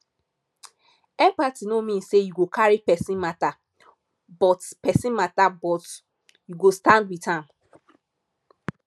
empathy no mean sey you go carry pesin mata but pesin mata but you go stand wit am